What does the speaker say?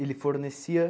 Ele fornecia?